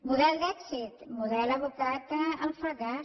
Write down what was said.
model d’èxit model abocat al fracàs